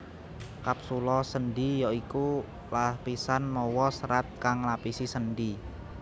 Kapsula sendhi ya iku lapisan mawa serat kang nglapisi sendhi